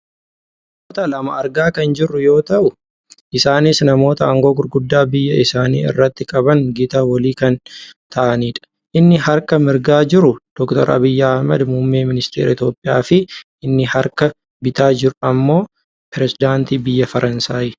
Namoota lama argaa kan jirru yoo ta'u isaanis namoota aangoo gurguddaa biyya isaanii irratti qaban Gita walii kan ta'anidha. Inni gara harka mirgaa jiru Dr Abiyyi Ahmed muummee ministeera Itoopiyaa fi inni gara harka bitaa jiru ammoo perisedaantii biyya Faransaayi.